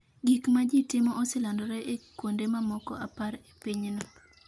Gik ma ji timo oselandore e kuonde mamoko apar e pinyno.